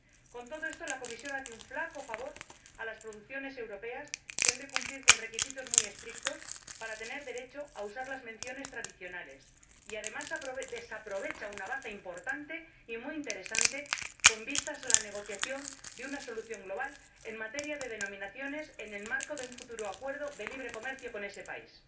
Con todo esto la Comisión hace un flaco favor a las producciones europeas que han de cumplir requisitos muy estrictos para tener derecho a usar las menciones tradicionales y, además, desaprovecha una baza importante y muy interesante con vistas a la negociación de una solución global, en materia de denominaciones, en el marco de un futuro acuerdo de libre comercio con ese país.